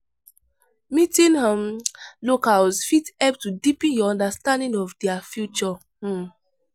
Meeting um locals fit help to deepen your understanding of their culture. um